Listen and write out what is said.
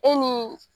E ni